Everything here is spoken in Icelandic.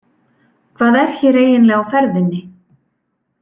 Hvað er hér eiginlega á ferðinni?